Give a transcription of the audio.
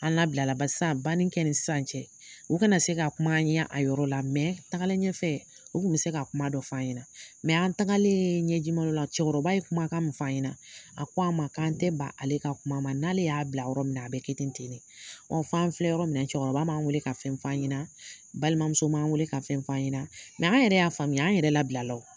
An labilala ba san banni kɛ ni sisan cɛ, u kana se ka kum'an ɲɛ a yɔrɔ la tagaleen ɲɛfɛ u kun bɛ se ka kuma dɔ f'an ɲɛna. an tagaleen ɲɛjimalɔ la cɛkɔrɔba ye kuma kan min f'an ɲɛna, a ko an ma k'an tɛ ban ale ka kuma ma. N'ale y'a bila yɔrɔ min na, a bɛ kɛ ten ten de. f'an filɛ yɔrɔ min na cɛkɔrɔba m'an weele ka fɛn f'an ɲɛna, balimamuso m'an weele ka fɛn f'an ɲɛna an yɛrɛ y'a faamuya, an yɛrɛ labilala o.